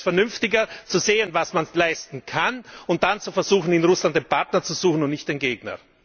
Daher ist es vernünftiger, zu sehen, was man leisten kann, und dann zu versuchen, in Russland den Partner zu suchen und nicht den Gegner!